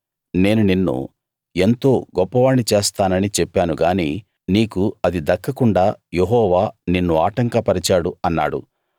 నేను నిన్ను ఎంతో గొప్పవాణ్ణి చేస్తానని చెప్పాను గాని నీకు అది దక్కకుండా యెహోవా నిన్ను ఆటంకపరిచాడు అన్నాడు